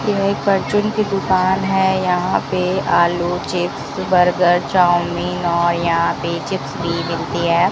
यह एक परचून की दुकान है यहां पे आलू चिप्स बर्गर चाऊमीन और यहां पे चिप्स भी मिलती है।